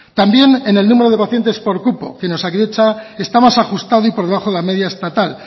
también en el número de por cupo que en osakidetza está más ajustado y por debajo de la media estatal